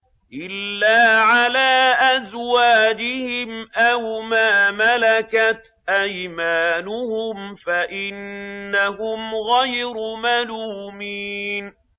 إِلَّا عَلَىٰ أَزْوَاجِهِمْ أَوْ مَا مَلَكَتْ أَيْمَانُهُمْ فَإِنَّهُمْ غَيْرُ مَلُومِينَ